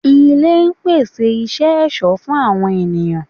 Ilé pèsè isẹ ẹ̀sọ́ fún àwọn ènìyàn